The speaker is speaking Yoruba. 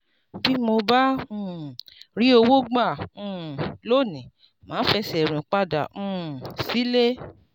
bí mi ò bá um rí owó gbà um lónìí màá fẹsẹ̀ rìn padà um sílé.